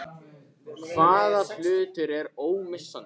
Hvaða hlutur er ómissandi?